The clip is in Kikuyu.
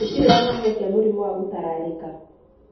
Gũtirĩ kĩhonia kĩa mũrimũ wa ngũtararĩka.